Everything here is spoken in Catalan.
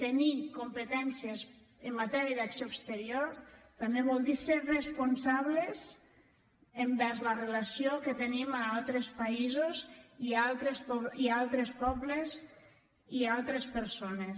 tenir competències en matèria d’acció exterior també vol dir ser responsables envers la relació que tenim amb altres països i amb altres pobles i amb altres persones